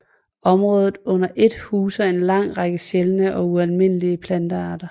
Området under ét huser en lang række sjældne og ualmindelige plantearter